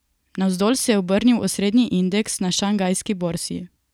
Navzdol se je obrnil osrednji indeks na šanghajski borzi.